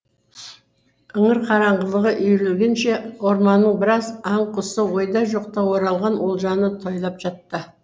іңір қараңғылығы үйірілгенше орманның біраз аң құсы ойда жоқта оралған олжаны тойлап жатты